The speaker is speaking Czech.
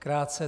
Krátce.